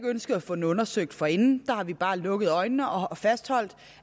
ønsket at få den undersøgt forinden men bare har lukket øjnene og fastholdt